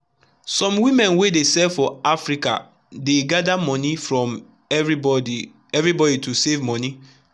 some women wey dey sell for market for africadey gather money from everybody everybody to save money.